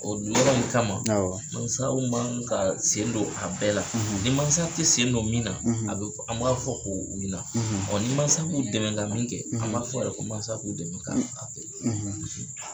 O yɔrɔ in kama; Awɔ; Sababu ma kan ka sen don an bɛɛ la; ; Ni mansaya tɛ sen don min na; ; A bɛ an b'a fɔ ko o mini; ; ni masa min gɛrɛ la min kɛ; , An b'a fɔ a ye ko masa ko dɛmɛ ka kɛ ka kɛ;